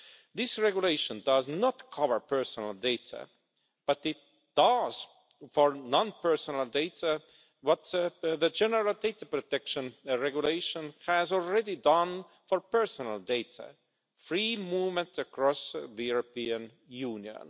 This regulation does not cover personal data, but it does for non-personal data what the General Data Protection Regulation has already done for personal data, namely free movement across the European Union.